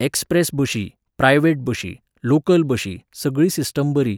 express बशी, private बशी, local बशी, सगळी सिस्टम बरी